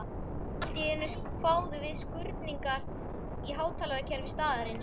Allt í einu kváðu við skruðningar í hátalarakerfi staðarins.